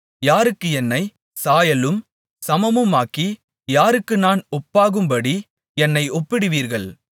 யாருக்கு என்னைச் சாயலும் சமமுமாக்கி யாருக்கு நான் ஒப்பாகும்படி என்னை ஒப்பிடுவீர்கள்